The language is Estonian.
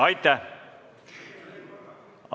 Aitäh!